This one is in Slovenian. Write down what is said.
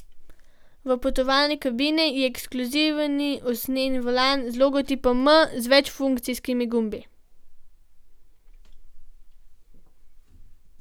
V potovalni kabini je ekskluzivni usnjeni volan z logotipom M z večfunkcijskimi gumbi.